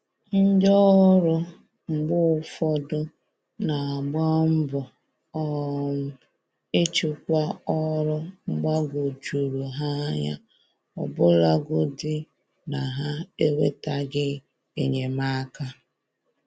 Ndị ọrụ mgbe ụfọdụ n'agba mbọ um ịchịkwa ọrụ gbagoo jụrụ ha anya, ọbụlagodi na ha enwetaghị enyemaka